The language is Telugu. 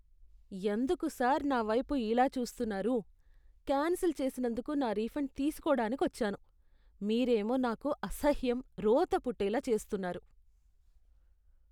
ఎందుకు సార్ నా వైపు ఇలా చూస్తున్నారు? కాన్సిల్ చేసినందుకు నా రిఫండ్ తీసుకోడానికొచ్చాను, మీరేమో నాకు అసహ్యం, రోత పుట్టేలా చేస్తున్నారు.